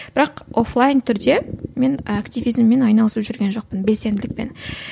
бірақ офлайн түрде мен активизммен айналысып жүрген жоқпын белсенділікпен